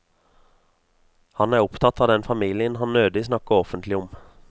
Han er opptatt av den familien han nødig snakker offentlig om.